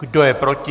Kdo je proti?